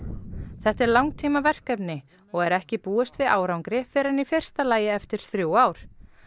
þetta er langtímaverkefni og er ekki búist við árangri fyrr en í fyrsta lagi eftir þrjú ár